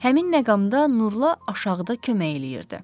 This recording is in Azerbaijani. Həmin məqamda Nurla aşağıda kömək eləyirdi.